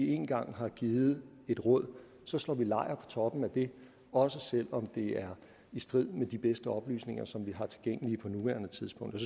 engang har givet et råd så slår man lejr toppen af det også selv om det er i strid med de bedste oplysninger som vi har tilgængelige på nuværende tidspunkt